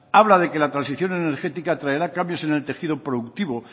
habla de que la transición energética traerá cambios en el tejido productivo